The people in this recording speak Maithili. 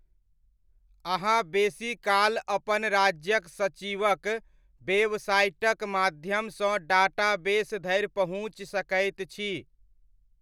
अहाँ बेसीकाल अपन राज्यक सचिवक वेबसाइटक माध्यमसँ डाटाबेस धरि पहुँचि सकैत छी।